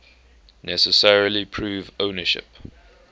necessarily prove ownership